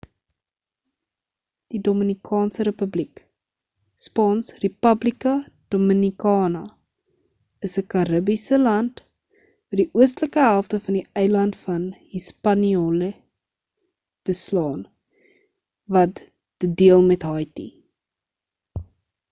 die dominikaanse republiek spaans: república dominicana is ‘n karribiese land wat die oostelike helfte van die eiland van hispaniola beslaan wat dit deel met haiti